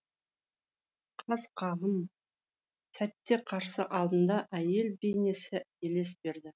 қас қағым сәтте қарсы алдында әйел бейнесі елес берді